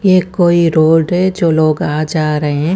ये कोई रोड है जो लोग आ जा रहे है।